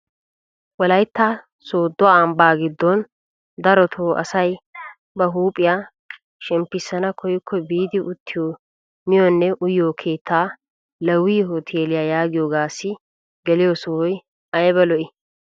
Wolaytta sooddo ambbaa giddon darotoo asay ba huuphphiyaa shemmpisana koyikko biidi uttiyoo miyonne uyiyoo keettaa leewi huteeliyaa yaagiyoogassi geliyoo sohoy ayba lo"ii!